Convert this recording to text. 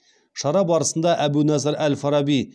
шара барысында әбу насыр әл фараби